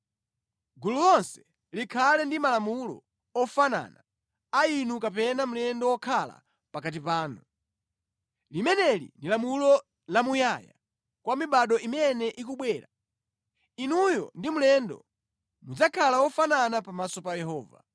Gulu lonse likhale ndi malamulo ofanana a inu kapena mlendo wokhala pakati panu. Limeneli ndi lamulo lamuyaya kwa mibado imene ikubwera. Inuyo ndi mlendo mudzakhala wofanana pamaso pa Yehova.